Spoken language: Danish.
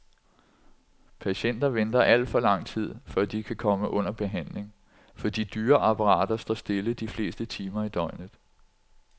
Patienter venter al for lang tid, før de kan komme under behandling, for de dyre apparater står stille de fleste timer i døgnet.